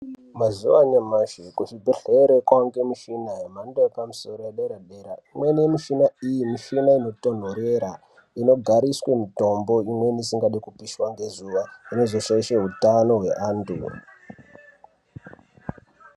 Mazuwa anyamashi kuzvibhedhlera kwakuwanikwa mishini yemhando yepamusoro yedera dera imweni yemushina iyi mushina inotonderera inogariswa mitombo imweni isingadi kupishwa ngezuwa hweshe hutano hwevantu.